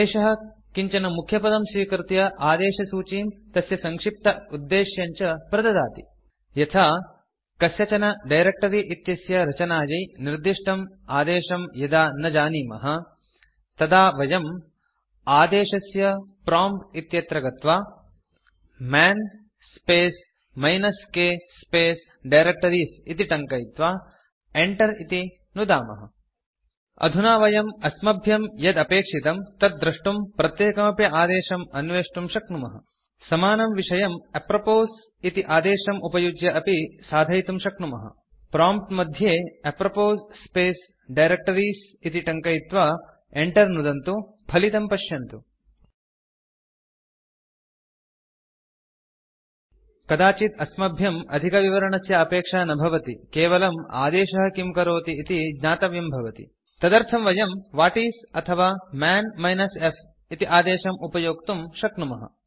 एषः किञ्चन मुख्यपदं स्वीकृत्य आदेशसूचीं तस्य सङ्क्षिप्त उद्देश्यम् च प्रददाति यथा कस्यचन डायरेक्ट्री इत्यस्य रचनायै निर्दिष्टम् आदेशं यदा न जानीमः तदा वयम् आदेशस्य प्रॉम्प्ट् इत्यत्र गत्वा man space minus k space directories इति टङ्कयित्वा enter इति नुदामः अधुना वयम् अस्मभ्यं यद् अपेक्षितं तत् द्रष्टुं प्रत्येकमपि आदेशम् अन्वेष्टुं शक्नुमः समानं विषयं अप्रोपोस् इति आदेशम् उपयुज्य अपि साधयितुं शक्नुमः प्रॉम्प्ट् मध्ये अप्रोपोस् स्पेस् डायरेक्टरीज़ इति टङ्कयित्वा enter नुदन्तु फलितं पश्यन्तु कदाचित् अस्मभ्यम् अधिकविवरणस्य अपेक्षा न भवति केवलम् आदेशः किं करोति इति ज्ञातव्यं भवति तदर्थं वयं व्हाटिस् अथवा मन् -f इति आदेशम् उपयोक्तुं शक्नुमः